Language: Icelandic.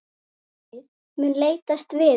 Félagið mun leitast við að